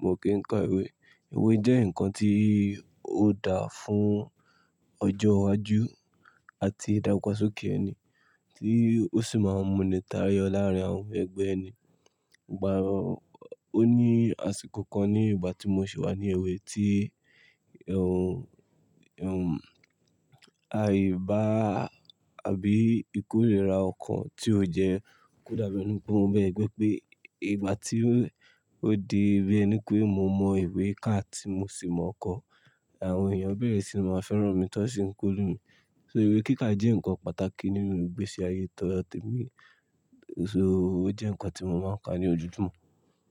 mò kí n ka ìwé. Ìwé jẹ́ ǹkan tí ó dáa fún ọjọ́ iwájú àti ìdàgbàsókè ẹni tí ó sì máa ń múni táyọ láàárín àwọn ẹgbẹ́ ẹni. Ìgbà ò ní àsìkò kan ní ìgbà tí mò ṣe wà ní èwé tí, ẹ́ẹ̀, ẹ́ẹ̀, àyíba àbí ìkórìíra ọkàn tí ó jẹ́ kò dàbí ẹni pé ó mọ ẹ̀gbẹ́ pé ìgbà tí ó di bi ẹni pé mò mọ ìwé ká tí mò sì mọokọ, àwọn èèyàn bẹ́ẹ̀re sì máa fẹ́ràn mi tó ń kórè mí. So ìwé kíkà jẹ́ ǹkan pàtàkì nínú ìgbésí ayé todo temí, so ó jẹ́ ǹkan tí mò máa ń ka ní ojúmọ́